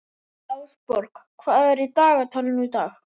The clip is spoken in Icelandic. Ásborg, hvað er á dagatalinu í dag?